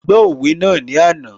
A gbọ́ òwe náà ní àná